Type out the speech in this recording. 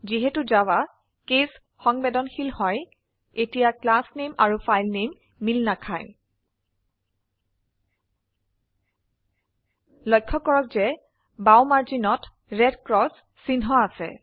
যিহেতু Java case সংবেদনশীল হয় এতিয়া ক্লাস নেম আৰু ফাইল নেম মিল নাখায় লক্ষ্য কৰক যে বাও মাৰ্জিনতred ক্ৰচ চিহ্ন আছে